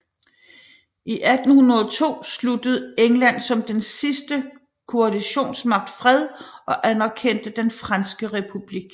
I 1802 sluttede England som den sidste koalitionsmagt fred og anerkendte den franske republik